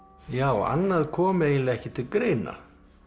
já annað kom eiginlega ekki til greina